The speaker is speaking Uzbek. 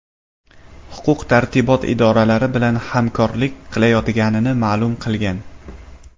Huquq-tartibot idoralari bilan hamkorlik qilayotganini ma’lum qilgan.